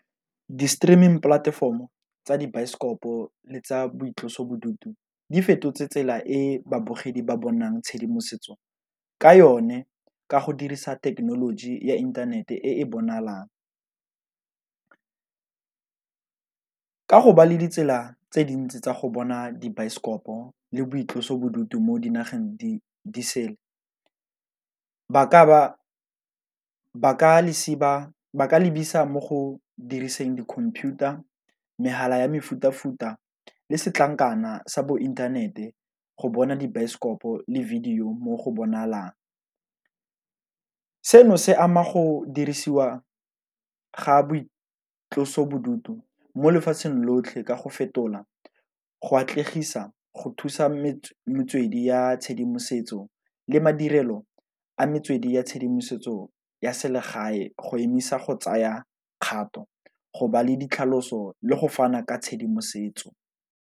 Di-streaming polatefomo tsa dibaesekopo le tsa boitlosobodutu di fetotse tsela e babogedi ba bonang tshedimosetso ka yone, ka go dirisa thekenoloji ya inthanete e e bonalang. Ka go ba le ditsela tse dintsi tsa go bona dibaesekopo le boitlosobodutu mo dinageng di sele ba ka lebisa mo go diriseng di-computer, megala ya mefuta-futa, le setlankana sa bo inthanete go bona dibaesekopo le video mo go bonalang. Seno se ama go dirisiwa ga boitlosobodutu mo lefatsheng lotlhe ka go fetola go atlegisa, go thusa metswedi ya tshedimosetso, le madirelo a metswedi ya tshedimosetso ya selegae go emisa go tsaya kgato go ba le ditlhaloso le go fana ka tshedimosetso.